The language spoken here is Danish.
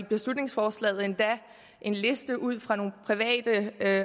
beslutningsforslaget endda en liste ud fra nogle private